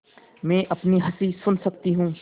मैं अपनी हँसी सुन सकती हूँ